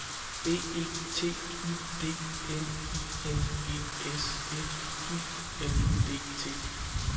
B E T Y D N I N G S F U L D T